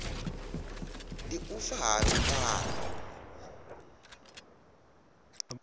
ndi u fa ha lungano